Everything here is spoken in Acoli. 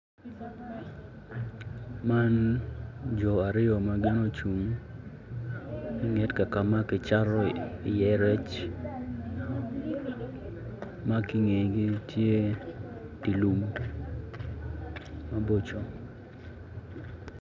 Man jo aryo ma gin ocung inget ka ka ma kicato iye rec ma ki ingegi tye di lum maboco